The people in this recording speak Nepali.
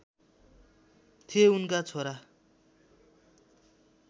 थिए उनका छोरा